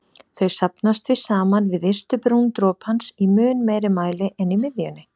Þau safnast því saman við ystu brún dropans í mun meiri mæli en í miðjunni.